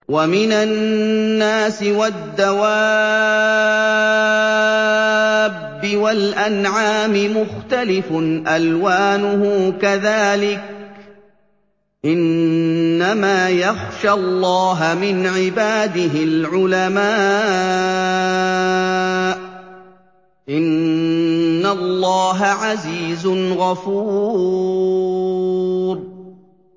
وَمِنَ النَّاسِ وَالدَّوَابِّ وَالْأَنْعَامِ مُخْتَلِفٌ أَلْوَانُهُ كَذَٰلِكَ ۗ إِنَّمَا يَخْشَى اللَّهَ مِنْ عِبَادِهِ الْعُلَمَاءُ ۗ إِنَّ اللَّهَ عَزِيزٌ غَفُورٌ